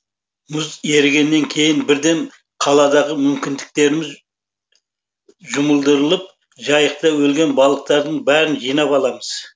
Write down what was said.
мұз ерігеннен кейін бірден қаладағы мүмкіндіктеріміз жұмылдырып жайықта өлген балықтардың бәрін жинап аламыз